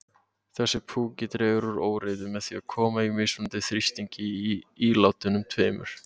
Þessi púki dregur úr óreiðu með því að koma á mismunandi þrýstingi í ílátunum tveimur.